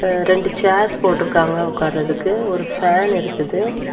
எ ரெண்டு சேர்ஸ் போட்டுருக்காங்க உக்காரதுக்கு ஒரு ஃபேன் இருக்குது.